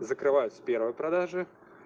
закрываются первые продажи